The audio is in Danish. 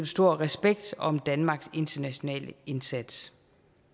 stor respekt om danmarks internationale indsats